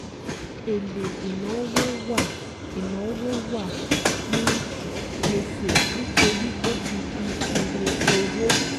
Èlé ìnáwó wà ìnáwó wà ní gbèsè nítorí ó ti di iye òwò.